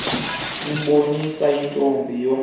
uboniswe lontombi wandule